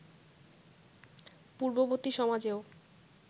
পূর্ববর্তী সমাজেও